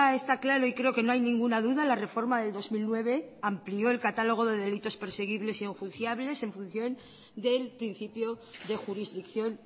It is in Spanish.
está claro y creo que no hay ninguna duda la reforma del dos mil nueve amplió el catálogo de delitos perseguibles y enjuiciables en función del principio de jurisdicción